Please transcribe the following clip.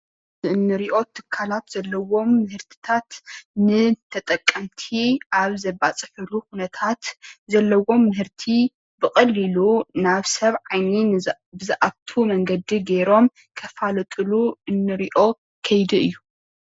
እዚ እንሪኦ ትካላት ዘለዎም ምህርታት ንተጠቀምቲ ኣብ ዘባፅሕሉ ኩነታት ዘለዎም ምህርቲ ብቐሊሉ ናብ ሰብ ዓይኒ ብዝኣቱ መንገዲ ገይሮም ከፋልጡሉ እንርእዮ ከይዲ እዩ።